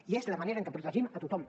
i és la manera en què protegim a tothom